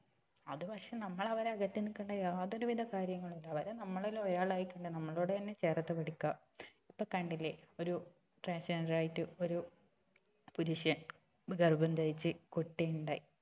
അത് പക്ഷെ നമ്മള് അവരെ അകറ്റി നിർത്തണ്ട യാതൊരു വിധ കാര്യങ്ങളും ഇല്ല അവരെ നമ്മളിൽ ഒരാളായി കണ്ട് നമ്മളോട് തന്നെ ചേർത്ത് പിടിക്കുക ഇപ്പൊ തന്നെ കണ്ടില്ലേ ഒരു transgender ആയിട്ട് ഒരു പുരുഷൻ ഗർഭം ധരിച്ച് കുട്ടി ഉണ്ടായി